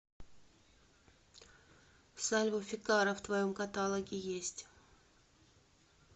сальво фикарра в твоем каталоге есть